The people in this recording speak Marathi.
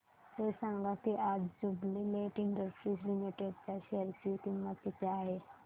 हे सांगा की आज ज्युबीलेंट इंडस्ट्रीज लिमिटेड च्या शेअर ची किंमत किती आहे